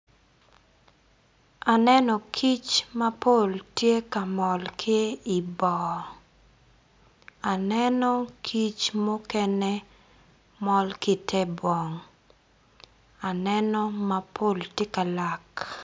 Aneno kic mapol tye ka mol ki i bong aneno kic mukene mol ki ite bong aneno mapol gitye ka lak.